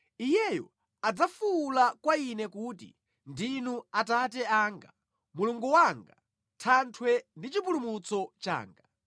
Iyeyo adzafuwula kwa Ine kuti, ‘Ndinu Atate anga, Mulungu wanga, Thanthwe ndi Chipulumutso changa.’